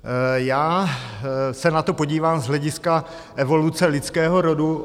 Já se na to podívám z hlediska evoluce lidského rodu.